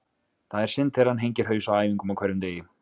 Það er synd þegar hann hengir haus á æfingum á hverjum degi.